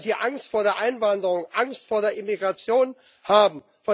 Weil sie Angst vor der Einwanderung, Angst vor der Immigration haben.